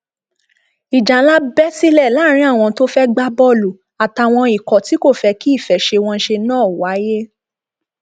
ìjà ńlá bẹ sílẹ láàrin àwọn tó fẹẹ gbá bọọlù àtàwọn ikọ tí kò fẹ kí ìfẹsẹwọnsẹ náà wáyé